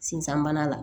Sinsan bana la